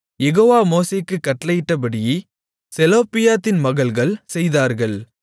யெகோவா மோசேக்குக் கட்டளையிட்டபடி செலொப்பியாத்தின் மகள்கள் செய்தார்கள்